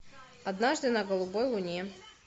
однажды на голубой луне